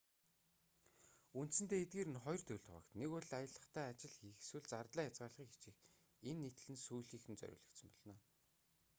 үндсэндээ эдгээр нь хоёр төрөлд хуваагдана нэг бол аялахдаа ажил хийх эсвэл зардлаа хязгаарлахыг хичээх энэ нийтлэл нь сүүлийнхэд нь зориулагдсан болно